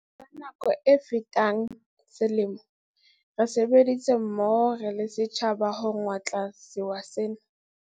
Bakeng sa nako e fetang selemo, re sebeditse mmoho re le setjhaba ho ngotla sewa sena.